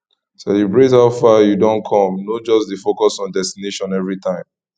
celibrate how far yu don com no just dey focus on destination evritime